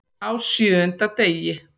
Á SJÖUNDA DEGI